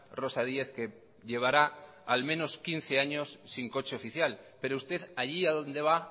rosa díez que llevará al menos quince años sin coche oficial pero usted allí a donde va